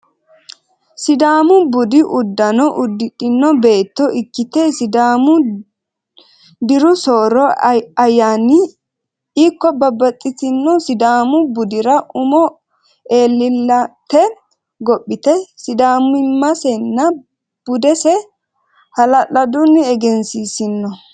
Sidaamu budu udano udidhino beeto ikkite, sidaamu diru sooro ayanira ikko babaxitino sidaamu budira umo elleellete gophite sidaamimasenna budese hala'laduni eggensisino